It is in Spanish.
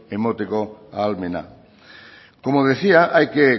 emateko ahalmena como decía hay que